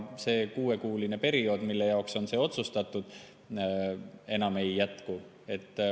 See kuuekuuline periood, mille jaoks see oli otsustatud, enam ei jätku.